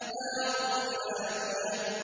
نَارٌ حَامِيَةٌ